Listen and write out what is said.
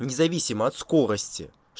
не зависимо от скорости